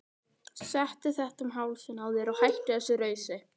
Settu þetta um hálsinn á þér og hættu þessu rausi!